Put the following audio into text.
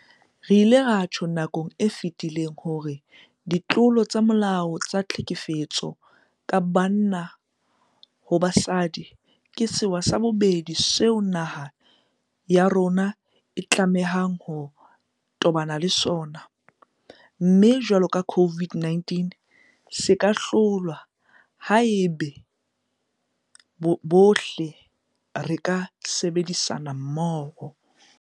Re ile ra tjho nakong e fetileng hore ditlolo tsa molao tsa tlhekefetso ka banna ho basadi ke sewa sa bobedi seo naha ya rona e tlamehang ho tobana le sona, mme jwalo ka COVID-19 se ka hlolwa haeba bohle re ka sebedisana mmoho.